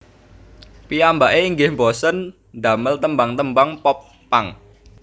Piyambake inggih bosèn damel tembang tembang Pop punk